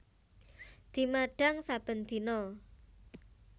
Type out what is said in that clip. Dimadhang saben dina